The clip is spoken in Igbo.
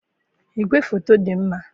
igwefoto dị mma.